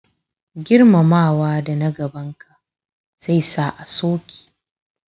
Girmamawa da na gaban ka zai sa a so ki